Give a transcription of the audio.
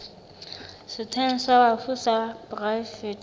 setsheng sa bafu sa poraefete